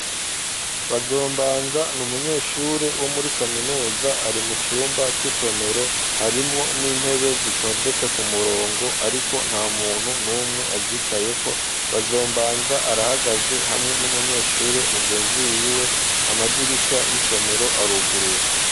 Bazombanza n'umunyeshure wo muri kaminuza ari mucumba c'isomero, harimwo n'intebe zitondetse ku murongo, ariko nta muntu n'umwe azicayeko ,Bazombanza arahagaze hamwe n'umunyeshure mugenzi wiwe, amadirisha y'isomero aruguruye.